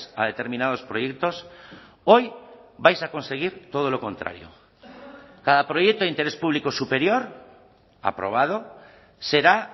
a determinados proyectos hoy vais a conseguir todo lo contrario cada proyecto de interés público superior aprobado será